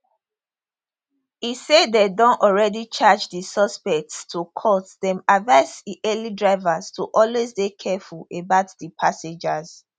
e say dem don already charge di suspects to court den advise ehailing drivers to always dey careful about di passengers